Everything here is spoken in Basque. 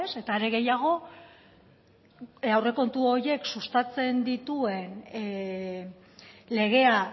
eta are gehiago aurrekontu horiek sustatzen dituen legea